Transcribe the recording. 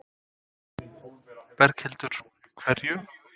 Berghildur: Hverju?